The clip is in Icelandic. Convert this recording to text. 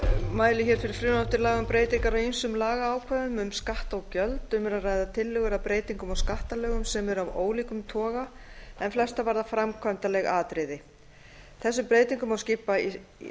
mæli hér fyrir frumvarpi til laga um breytingu á ýmsum lagaákvæðum um skatta og gjöld um er að ræða tillögur um breytingar á skattalögum sem eru af ólíkum toga en flestar varða framkvæmdaleg atriði þessum breytingum má skipta í